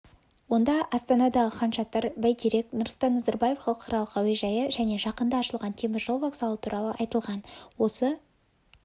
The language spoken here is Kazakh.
онда астанадағы хан-шатыр бәйтерек нұрсұлтан назарбаев халықаралық әуежайы және жақында ашылған теміржол вокзалы туралы айтылған осы